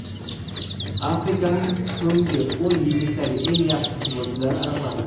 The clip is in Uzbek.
Afrikaning so‘nggi o‘n yillikdagi eng yaxshi futbolchilari aniqlandi.